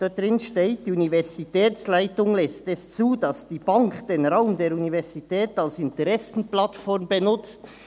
Dort steht: «Die Universitätsleitung lässt es zu, dass die Bank den Raum der Universität als Interessenplattform benutzt.